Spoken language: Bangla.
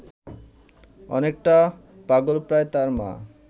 অনেকটা পাগলপ্রায় তার মা